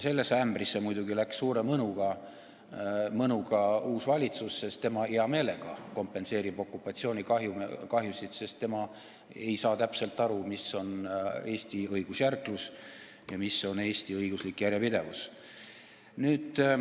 Sellesse ämbrisse astus muidugi suure mõnuga uus valitsus, tema hea meelega kompenseerib okupatsioonikahjusid, sest ta ei saa täpselt aru, mis on Eesti õigusjärglus ja mis on Eesti õiguslik järjepidevus.